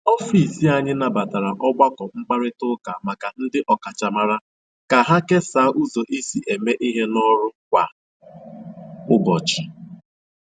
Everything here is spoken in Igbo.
Ọfịs anyị nabatara ọgbakọ mkparịta ụka maka ndị ọkachamara ka ha kesaa ụzọ e si eme ihe n’ọrụ kwa ụbọchị.